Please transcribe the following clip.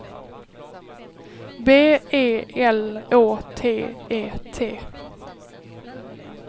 B E L Å T E T